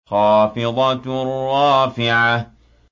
خَافِضَةٌ رَّافِعَةٌ